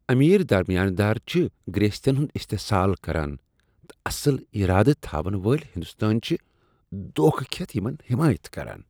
امیر درمیانہ دار چھ گرٛیستین ہنٛد استحصال کران تہٕ اصل ارادٕ تھاون وٲلۍ ہندوستٲنۍ چھ دوکھٕ کھیتھ یمن حمایت کران۔